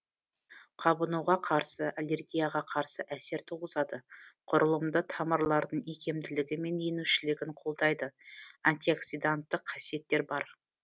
қабынуға қарсы аллергияға қарсы әсер туғызады құрылымды тамырлардың икемділігі мен енушілігін қолдайды антиоксиданттық қасиеттер бар